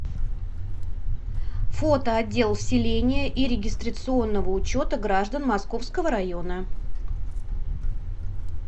фото отдел вселения и регистрационного учета граждан московского района